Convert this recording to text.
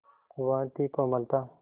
वह थी कोमलता